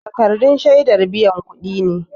Takardun shiadar biyan kudi ne